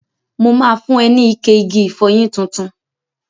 Mo ma fun ẹ ní ike igi ìfọyín tuntun.